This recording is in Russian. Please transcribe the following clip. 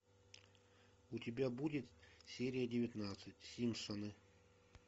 у тебя будет серия девятнадцать симпсоны